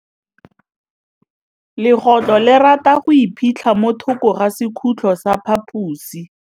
Legôtlô le rata go iphitlha mo thokô ga sekhutlo sa phaposi.